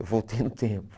Eu voltei no tempo.